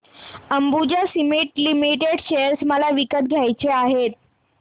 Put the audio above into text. Ambuja cement limited share मला विकत घ्यायचे आहेत